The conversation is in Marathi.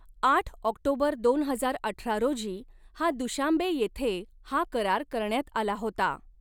आठ ऑक्टोबर दोन हजार अठरा रोजी हा दुशान्बे येथे हा करार करण्यात आला होता.